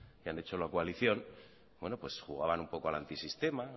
que han hecho la coalición jugaban un poco al antisistema